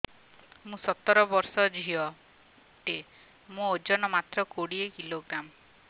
ମୁଁ ସତର ବର୍ଷ ଝିଅ ଟେ ମୋର ଓଜନ ମାତ୍ର କୋଡ଼ିଏ କିଲୋଗ୍ରାମ